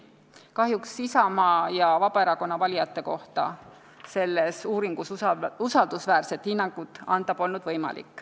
Kahjuks ei olnud Isamaa ja Vabaerakonna valijate kohta selles uuringus võimalik usaldusväärset hinnangut anda.